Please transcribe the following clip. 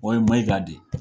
O ye Maiga de.